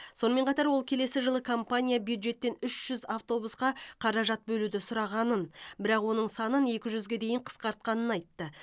сонымен қатар ол келесі жылы компания бюджеттен үш жүз автобусқа қаражат бөлуді сұрағанын бірақ оның санын екі жүзге дейін қысқартқанын айтты